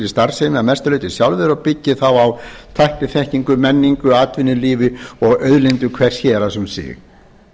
starfsemi að sem mestu leyti sjálfir og byggi þá á tækniþekkingu menningu atvinnulífi og auðlindum hvers héraðs um sig